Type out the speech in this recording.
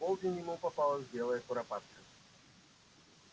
в полдень ему попалась белая куропатка